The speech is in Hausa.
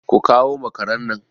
Ku kawo makaran nan!